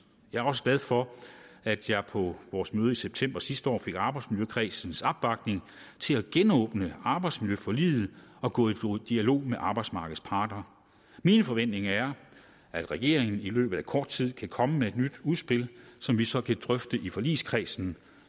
jeg er også glad for at jeg på vores møde i september sidste år fik arbejdsmiljøkredsens opbakning til at genåbne arbejdsmiljøforliget og gå i dialog med arbejdsmarkedets parter mine forventninger er at regeringen i løbet af kort tid kan komme med et nyt udspil som vi så kan drøfte i forligskredsen